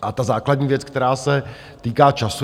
A ta základní věc, která se týká času.